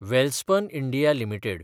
Welspun India limited